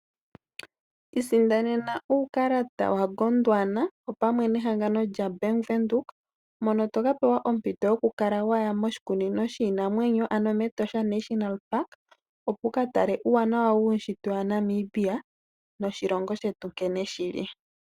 Isindanena uukalata wa Gondwana opamwe nehangano lyaBank Windhoek. Mono toka pewa ompito yoku kala waya moshikunino shiinamwenyo ano mEtosha National Park, opo wuka tale uuwanawa wuushitwe waNamibia noshilongo shetu nkene shili.